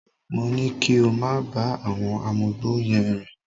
Mo ní kí ó máa bá àwọn amugbó yẹn rìn